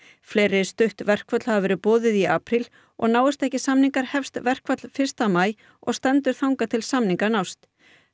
fleiri stutt verkföll hafa verið boðuð í apríl og náist ekki samningar hefst verkfall fyrsta maí og stendur þangað til samningar nást